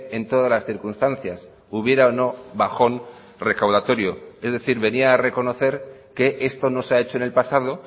en todas las circunstancias hubiera o no bajón recaudatorio es decir venía a reconocer que esto no se ha hecho en el pasado